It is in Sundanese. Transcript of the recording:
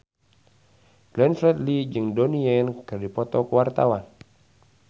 Glenn Fredly jeung Donnie Yan keur dipoto ku wartawan